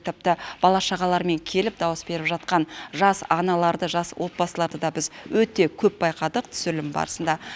тіпті бала шағаларымен келіп дауыс беріп жатқан жас аналарды жас отбасыларды да біз өте көп байқадық түсірілім барысында